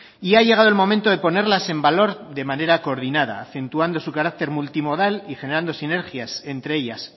y ha llegado el momento de ponerlas en valor de manera coordinada acentuando su carácter multimodal y generando sinergias entre ellas